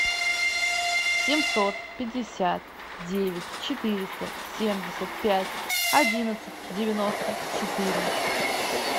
семьсот пятьдесят девять четыреста семьдесят пять одиннадцать девяносто четыре